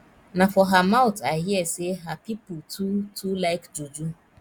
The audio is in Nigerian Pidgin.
na for her mouth i hear sey her pipu too too like juju